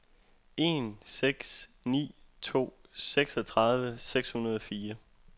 en seks ni to seksogtredive seks hundrede og fire